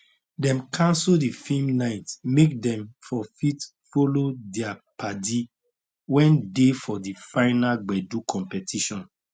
dem canso the film nite make dem for fit follow their paddy wen dey for the final gbedu compitition